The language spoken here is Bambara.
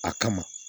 A kama